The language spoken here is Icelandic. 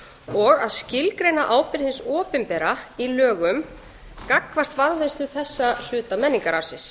og að skilgreina ábyrgð hins opinbera í lögum gagnvart varðveislu þessa hluta menningararfsins